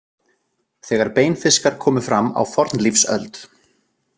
Þegar beinfiskar komu fram á fornlífsöld.